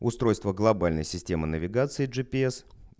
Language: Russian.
устройство глобальной системы навигации джипс